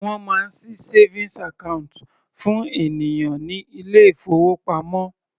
Wọ́n máa ṣí savings account fún ènìyàn ní ilé ìfowópamọ́.